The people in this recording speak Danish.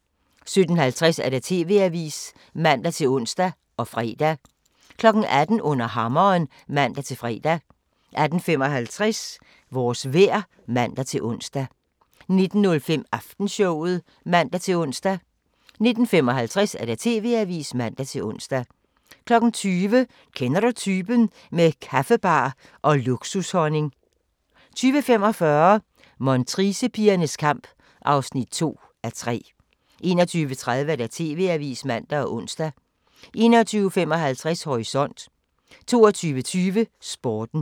17:50: TV-avisen (man-ons og fre) 18:00: Under hammeren (man-fre) 18:55: Vores vejr (man-ons) 19:05: Aftenshowet (man-ons) 19:55: TV-avisen (man-ons) 20:00: Kender du typen? – med kaffebar og luksushonning 20:45: Montricepigernes kamp (2:3) 21:30: TV-avisen (man og ons) 21:55: Horisont 22:20: Sporten